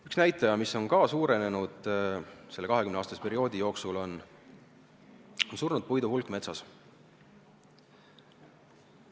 Üks näitaja, mis on samuti selle 20-aastase perioodi jooksul suurenenud, on surnud puidu hulk metsas.